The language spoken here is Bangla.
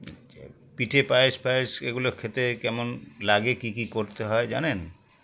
আচ্ছা পিঠে পায়েস পায়েস এগুলো খেতে কেমন লাগে কী কী করতে হয় জানেন